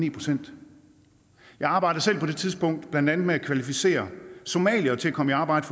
en procent jeg arbejdede selv på det tidspunkt blandt andet med at kvalificere somaliere til at komme i arbejde